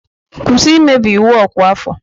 Kwụsị imebi iwu ọkwa afọ!